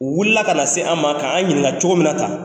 U wulila ka na se an ma kan an ɲininka cogo min na tan